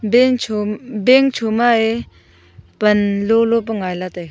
bank chom bank choma ee panlo pa ngaila taiga.